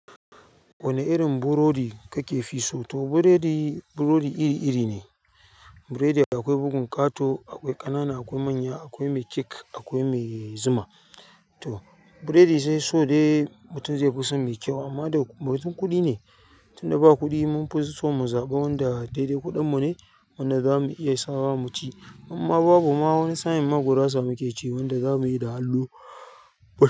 Wane irin burodi kake fi so? To burodi, burodi iri-iri ne burodi. Akwai bugun ƙato, akwai ƙanana, akwai manya, akwai mai cake, akwai mai zuma. To burodi dai so dai mutum zai fi son mai kyau amman da motsin kuɗi ne. Tunda ba kuɗi mun fi so mu zaɓa wanda daidai kuɗin mu ne, wanda za mu iya sawa mu ci. Idan ma babu ma wani sa'in ma gurasa muke ci, wanda zamu yi da hannu.